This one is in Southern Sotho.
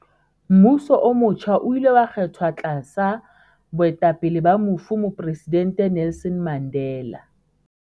Mmuso o motjha o ile wa kgethwa tlasa boetapele ba mofu Mopresidente Nelson Mandela.